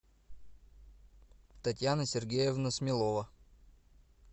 татьяна сергеевна смелова